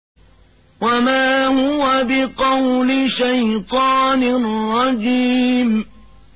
وَمَا هُوَ بِقَوْلِ شَيْطَانٍ رَّجِيمٍ